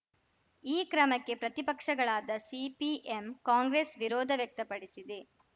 ಈ ಕ್ರಮಕ್ಕೆ ಪ್ರತಿಪಕ್ಷಗಳಾದ ಸಿಪಿಎಂ ಕಾಂಗ್ರೆಸ್‌ ವಿರೋಧ ವ್ಯಕ್ತಪಡಿಸಿದೆ